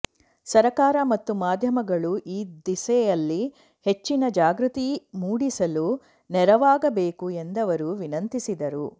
ಸರಕಾರ ಮತ್ತು ಮಾಧ್ಯಮಗಳು ಈ ದಿಸೆಯಲ್ಲಿ ಹೆಚ್ಚಿನ ಜಾಗೃತಿ ಮೂಡಿಸಲು ನೆರವಾಗಬೇಕು ಎಂದವರು ವಿನಂತಿಸಿದರು